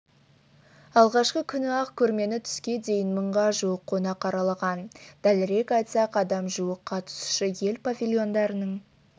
алғашқы күні-ақ көрмені түске дейін мыңға жуық қонақ аралаған дәлірек айтсақ адам жуық қатысушы ел павильондарының